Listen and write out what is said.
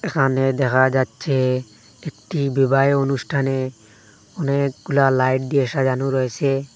এখানে দেখা যাচ্ছে একটি বিবাহে অনুষ্ঠানে অনেকগুলা লাইট দিয়ে সাজানো রয়েসে।